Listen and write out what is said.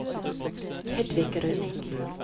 Hedvig Rønning